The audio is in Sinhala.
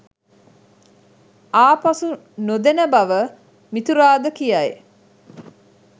ආපසු නොදෙන බව මිතුරාද කියයි